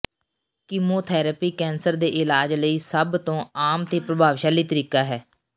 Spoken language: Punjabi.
ਕੀਮੋਥੈਰੇਪੀ ਕੈਂਸਰ ਦੇ ਇਲਾਜ ਲਈ ਸਭ ਤੋਂ ਆਮ ਅਤੇ ਪ੍ਰਭਾਵਸ਼ਾਲੀ ਤਰੀਕਾ ਹੈ